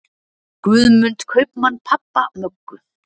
Guðmund kaupmann pabba Möggu.